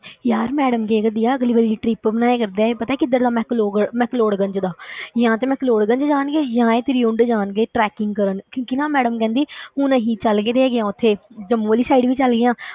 ਯਾਰ madam ਕਹਿਆ ਕਰਦੀ ਆ ਅਗਲੀ ਵਾਰੀ trip ਬਣਾਇਆ ਕਰਦਾ ਇਹ ਪਤਾ ਕਿੱਧਰ ਦਾ ਮੈਕਲੋਗੜ ਮੈਕਲੋਡਗੰਜ ਦਾ ਜਾਂ ਤੇ ਮੈਕਲੋਡਗੰਜ ਜਾਣਗੇ ਜਾਂ ਇਹ ਤ੍ਰਿਉਂਡ ਜਾਣਗੇ tracking ਕਰਨ ਕਿਉਂਕਿ ਨਾ madam ਕਹਿੰਦੀ ਹੁਣ ਅਸੀਂ ਚੱਲ ਗਏ ਹੈਗੇ ਹਾਂ ਉੱਥੇ ਜੰਮੂ ਵਾਲੀ side ਵੀ ਚਲੇ ਗਏ ਹਾਂ,